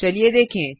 चलिए देखें